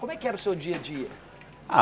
Como é que era o seu dia a dia? Ah